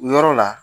O yɔrɔ la